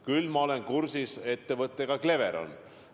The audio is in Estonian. Küll ma olen kursis ettevõttega Cleveron.